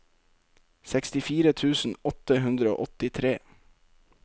sekstifire tusen åtte hundre og åttitre